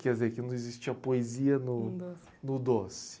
Quer dizer, que não existia poesia no... No doce... No doce.